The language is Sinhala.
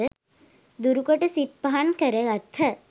දුරු කොට සිත් පහන් කර ගත්හ.